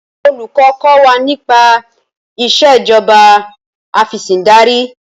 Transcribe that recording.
Olùkọ́ kọ́ wa nípa Ìṣèjọba Afẹ̀sìndarí